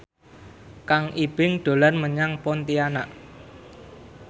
Kang Ibing dolan menyang Pontianak